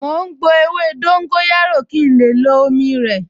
Mò ń gbo ewé dóńgóyárò kí n lè lo omi rẹ̀